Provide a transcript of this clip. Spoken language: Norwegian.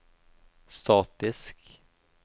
statisk